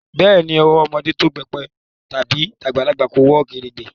Beeni, owó ọmọdé tó pépè tàbí tagbalagbà wọ kèrègbè